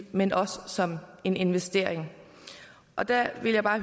men også som en investering og der vil jeg bare